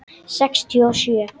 Sextíu og sjö.